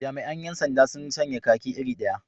Jami'an 'yan sanda sun sanya kaki iri daya.